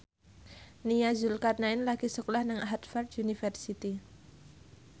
Nia Zulkarnaen lagi sekolah nang Harvard university